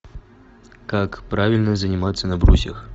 как правильно заниматься на брусьях